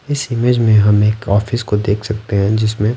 इस इमेज में हम एक ऑफिस को देख सकते हैं जिसमें--